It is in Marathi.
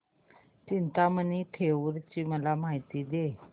चिंतामणी थेऊर ची मला माहिती दे